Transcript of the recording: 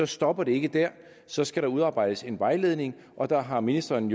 stopper det ikke der så skal der udarbejdes en vejledning og der har ministeren